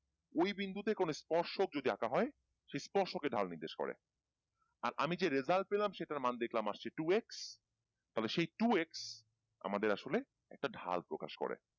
ওই বিন্দুতে যদি কোনো স্পর্শক যদি আঁকা হয় সেই স্পর্শকে ঢাল নির্দেশ করে আর আমি যে result পেলাম সেটার মান দেখলাম আসছে two X তাহলে সেই two X আমাদের আসলে একটা ঢাল প্রকাশ করে